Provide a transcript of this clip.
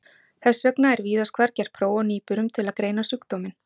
Þess vegna er víðast hvar gert próf á nýburum til að greina sjúkdóminn.